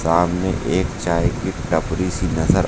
सामने एक चाय की टपरी सी नजर--